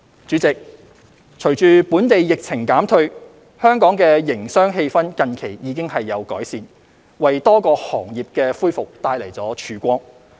主席，隨着本地疫情減退，香港的營商氣氛近期已有改善，為多個行業的恢復帶來曙光。